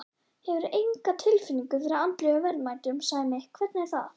Hefurðu enga tilfinningu fyrir andlegum verðmætum, Sæmi, hvernig er það?